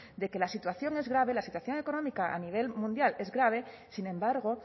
de que la situación es grave la situación económica a nivel mundial es grave sin embargo